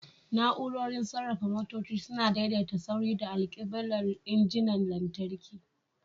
Na'urorin sarrafa motoci suna daidaita saurin da alkiblar injinan lantarki.